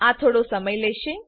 આ થોડો સમય લેશે